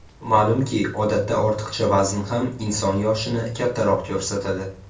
Ma’lumki, odatda ortiqcha vazn ham inson yoshini kattaroq ko‘rsatadi.